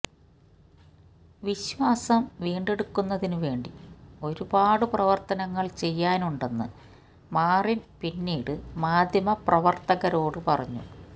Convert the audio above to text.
വിശ്വാസം വീണ്ടെടുക്കുന്നതിനു വേണ്ടി ഒരുപാട് പ്രവർത്തനങ്ങൾ ചെയ്യാനുണ്ടെന്ന് മാറിൻ പിന്നീട് മാധ്യമപ്രവർത്തകരോട് പറഞ്ഞു